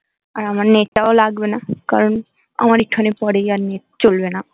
আর আমার নেট টা ও লাগবে না কারন আমার এখানে প্রিয় আর নেট চলবেনা